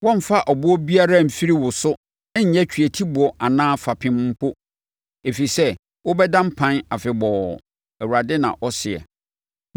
Wɔremfa ɔboɔ biara mfiri wo so nyɛ tweatiboɔ anaa sɛ fapem mpo, ɛfiri sɛ wobɛda mpan afebɔɔ,” Awurade na ɔseɛ.